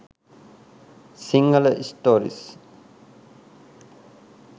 sinhala stories